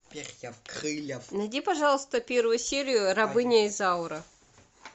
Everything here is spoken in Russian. найди пожалуйста первую серию рабыня изаура